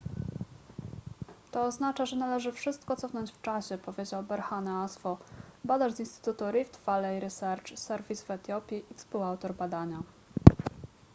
to oznacza że należy wszystko cofnąć w czasie powiedział berhane asfaw badacz z instytutu rift valley research service w etiopii i współautor badania